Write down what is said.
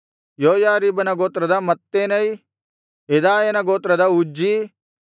ಯೋಯಾರೀಬನ ಗೋತ್ರದ ಮತ್ತೆನೈ ಯೆದಾಯನ ಗೋತ್ರದ ಉಜ್ಜೀ